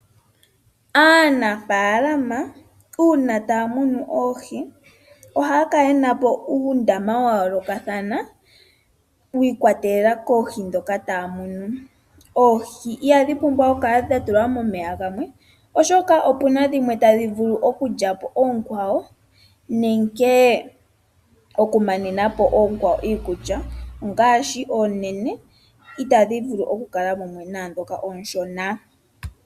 Aanafaalama uuna taa munu oohi ohaya kala yenapo uundama wa yoolokathana wiikwatelela koohi dhoka taa munu. Oohi ihadhi pumbwa okukala dhatulwa momeya gamwe, oshoka opuna dhimwe tadhi vulu okulyapo oonkwawo nenge okumanenapo oonkwawo iikulya ongaashi oonene itadhi vulu okukala mumwe naadhoka ooshona.